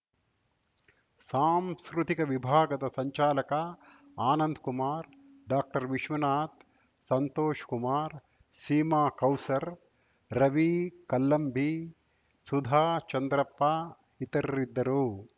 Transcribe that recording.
ಸಾಂಸ್ಕೃತಿಕ ವಿಭಾಗದ ಸಂಚಾಲಕ ಆನಂದ್‌ ಕುಮಾರ್‌ ಡಾಕ್ಟರ್ವಿಶ್ವನಾಥ್‌ ಸಂತೋಷ್‌ ಕುಮಾರ್‌ ಸೀಮಾ ಕೌಸರ್‌ ರವಿ ಕಲ್ಲಂಬಿ ಸುಧಾ ಚಂದ್ರಪ್ಪ ಇತರರಿದ್ದರು